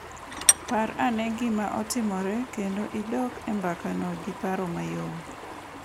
Par ane gima otimore kendo idok e mbakano gi paro mayom.